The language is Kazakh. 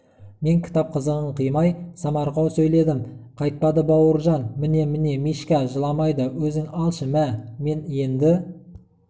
мен кітап қызығын қимай самарқау сөйледім қайтпады бауыржан міне-міне мишка жыламайды өзің алшы мә мен енді